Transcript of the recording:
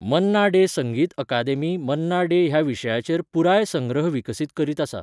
मन्ना डे संगीत अकादेमी मन्ना डे ह्या विशयाचेर पुराय संग्रह विकसीत करीत आसा.